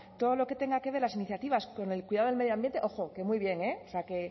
todo lo que tenga que ver las iniciativas con el cuidado del medio ambiente ojo que muy bien eh